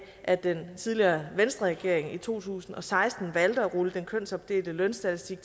at den tidligere venstreregering i to tusind og seksten valgte at rulle den kønsopdelte lønstatistik